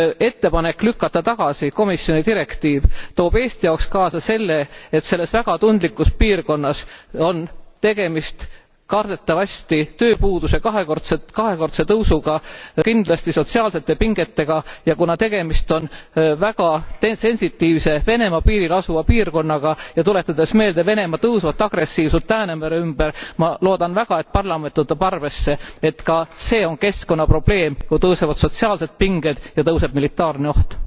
Ettepanek lükata tagasi komisjoni direktiiv toob Eesti jaoks kaasa selle, et selles väga tundlikus piirkonnas on tegemist kardetavasti tööpuuduse kahekordse tõusuga, kindlasti sotsiaalsete pingetega ja kuna tegemist on väga sensitiivse Venemaa piiril asuva piirkonnaga ja tuletades meelde Venemaa tõusvat agressiivsust Läänemere ümber ma loodan väga, et parlament võtab arvesse, et ka see on keskkonnaprobleem, kui tõusevad sotsiaalsed pinged ja suureneb militaarne oht.